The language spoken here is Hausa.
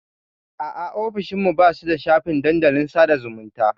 A'a, ofishin mu ba su da shafin dandalin sada zumunta.